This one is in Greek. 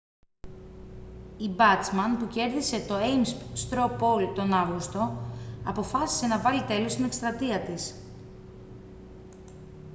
η μπάτσμαν που κέρδισε το έιμς στρο πολ τον αύγουστο αποφάσισε να βάλει τέλος στην εκστρατεία της